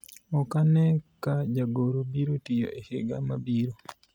ok ane ka jagoro biro tiyo higa mabiro